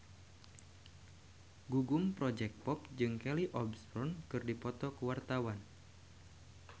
Gugum Project Pop jeung Kelly Osbourne keur dipoto ku wartawan